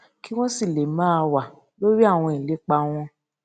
kí wón sì lè máa wà lórí àwọn ìlépa wọn